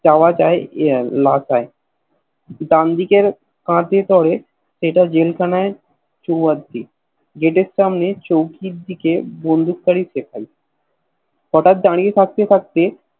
যাওয়াটাই ইয়ে Last হয় ডান দিকের হাতলে পরে সেটা জেল খানা চলে যায় জেতার সামনে চৌকির দিকে বঁধুক তাড়িত দেখায় হটাৎ দাড়িয়ে থাকতে থাকতে